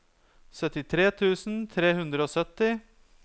syttitre tusen tre hundre og sytti